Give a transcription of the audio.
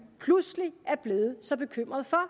pludselig er blevet så bekymret for